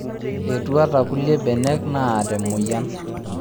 Etuata kulie benek naata emoyian